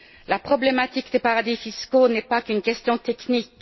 La problématique des paradis fiscaux n'est pas qu'une question technique.